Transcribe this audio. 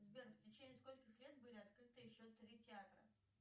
сбер в течение скольких лет были открыты еще три театра